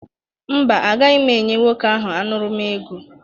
Mba, agaghị m enye nwoke ahụ aṅụrụma ego